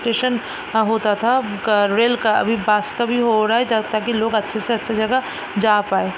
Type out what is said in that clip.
Station यहाँ होता था गा रेल का अभी भी हो रहा है जा ताकी लोग अच्छे से अच्छे जगह जा पाए।